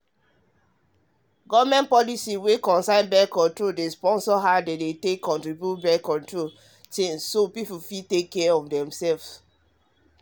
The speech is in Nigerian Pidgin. government policy wen concern birth-control dey sponsor how dem distribute birth-control thingsso people fit take care of dem self